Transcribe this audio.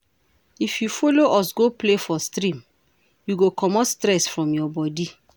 If you folo us go play for stream, you go comot stress from your bodi.